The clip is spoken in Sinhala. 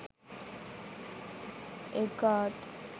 egg art